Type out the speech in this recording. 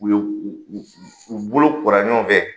U ye u u u bolo kora ɲɔgɔn fɛ.